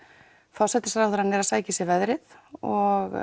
forsætisráðherra er að sækja í sig veðrið og